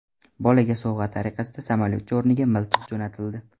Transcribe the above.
Bolaga sovg‘a tariqasida samolyotcha o‘rniga miltiq jo‘natildi.